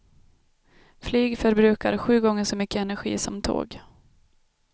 Flyg förbrukar sju gånger så mycket energi som tåg.